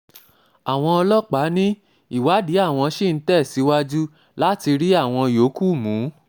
àwọn um ọlọ́pàá ní ìwádìí àwọn ṣì um ń tẹ̀síwájú láti rí àwọn yòókù mú